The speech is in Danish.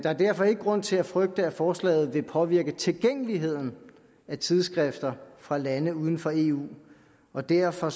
er derfor ikke grund til at frygte at forslaget vil påvirke tilgængeligheden af tidsskrifter fra lande uden for eu og derfor